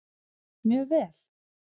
Mjög vel